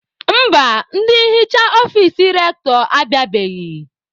Mba, ndị nhicha ọfici Rektọ abịabeghị.